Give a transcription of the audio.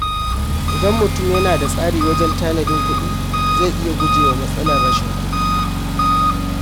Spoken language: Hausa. Idan mutum yana da tsari wajen tanadin kuɗi, zai iya guje wa matsalar rashin kuɗi.